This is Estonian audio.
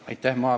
Aitäh!